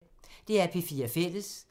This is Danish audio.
DR P4 Fælles